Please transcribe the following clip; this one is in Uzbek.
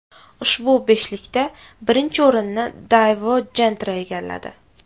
Ushbu beshlikda birinchi o‘rinni Daewoo Gentra egalladi.